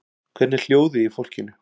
Hvernig er hljóðið í fólkinu?